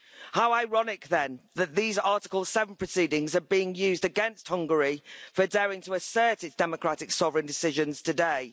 How ironic, then, that these Article 7 proceedings are being used against Hungary for daring to assert its democratic sovereign decisions today.